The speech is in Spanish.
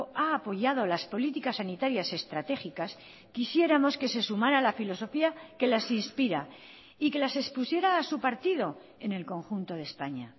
ha apoyado las políticas sanitarias estratégicas quisiéramos que se sumara la filosofía que las inspira y que las expusiera a su partido en el conjunto de españa